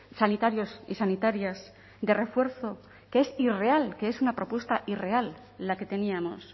sanitarios y sanitarias de refuerzo que es irreal que es una propuesta irreal la que teníamos